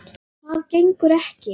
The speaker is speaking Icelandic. Það gengur ekki.